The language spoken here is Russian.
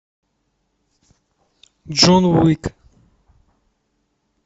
джон уик